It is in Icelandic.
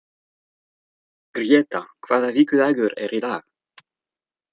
Gréta, hvaða vikudagur er í dag?